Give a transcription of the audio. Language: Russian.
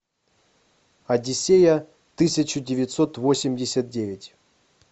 одиссея тысяча девятьсот восемьдесят девять